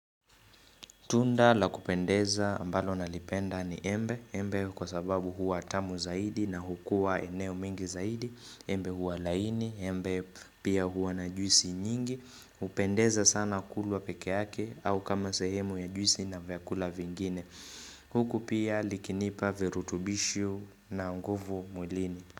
Tunda la kupendeza ambalo nalipenda ni embe, embe kwa sababu huwa tamu zaidi na hukua eneo mengi zaidi, embe huwa laini, embe pia huwa na juisi nyingi, hupendeza sana kulwa pekee yake au kama sehemu ya juisi na vyakula vingine. Huku pia likinipa virutubisho na nguvu mwilini.